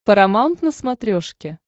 парамаунт на смотрешке